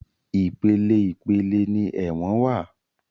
Ìpele ìpele ni ẹ̀wọ̀n wá.